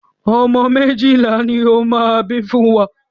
Ọmọ méjìlá ni ó máa bí fún wa.